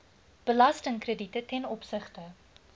belastingkrediete ten opsigte